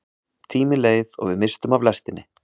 Tíminn leið og við misstum af lestinni!